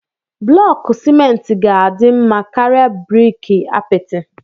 Blọku simenti ga-adị mma karịa briki apịtị.